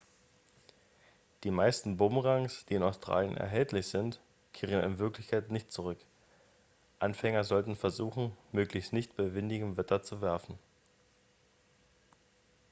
die meisten bumerangs die in australien erhältlich sind kehren in wirklichkeit nicht zurück anfänger sollten versuchen möglichst nicht bei windigem wetter zu werfen